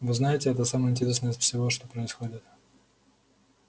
вы знаете это самое интересное из всего что происходит